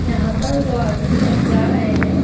यहां पर दो आदमी जा रहे हैं।